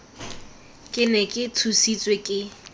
ke ne ke tshositswe ke